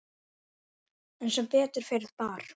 En sem betur fer bar